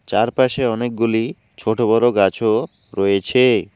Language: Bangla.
চারপাশে অনেকগুলি ছোট বড়ো গাছও রয়েছে।